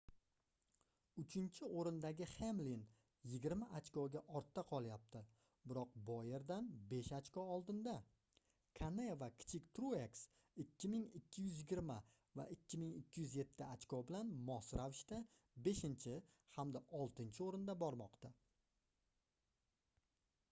uchinchi oʻrindagi hemlin yigirma ochkoga ortda qolyapti biroq boyerdan besh ochko oldinda kane va kichik trueks 2220 va 2207 ochko bilan mos ravishda beshinchi hamda oltinchi oʻrinda bormoqda